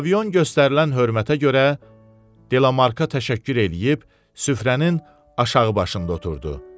Pavilyon göstərilən hörmətə görə Delamarka təşəkkür eləyib, süfrənin aşağı başında oturdu.